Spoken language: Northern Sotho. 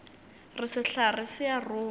re sehlare se a rongwa